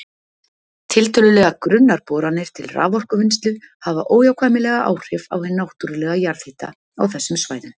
Tiltölulega grunnar boranir til raforkuvinnslu hafa óhjákvæmilega áhrif á hinn náttúrlega jarðhita á þessum svæðum.